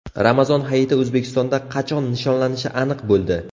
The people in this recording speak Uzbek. Ramazon Hayiti O‘zbekistonda qachon nishonlanishi aniq bo‘ldi.